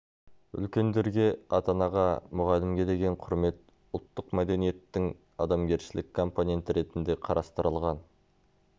үлкендерге ата-анаға мұғалімге деген құрмет ұлттық мәдениеттің адамгершілік компоненті ретінде қарастырылған